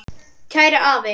Kæri afi.